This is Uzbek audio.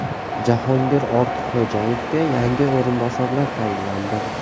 Jahongir Ortiqxo‘jayevga yangi o‘rinbosarlar tayinlandi.